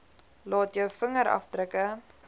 laat jou vingerafdrukke